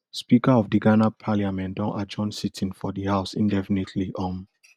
speaker of di ghana parliament don adjourn sitting for di house indefinitely um